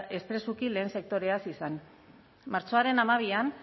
eta espresuki lehen sektoreaz izan martxoaren hamabian